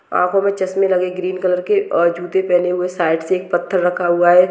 आँखों में चष्मे लगे ग्रीन कलर के और जूते पहने हुए साइड से एक पत्थर रखा हुआ है।